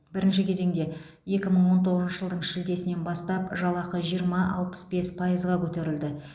бірінші кезеңде екі мың он тоғызыншы жылдың шілдесінен бастап жалақы жиырма алпыс бес пайызға көтерілді